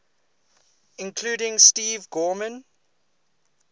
including steve gorman